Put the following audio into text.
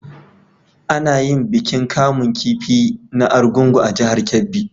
A na yin bikin kamun kifi na argungu a jahar kebbi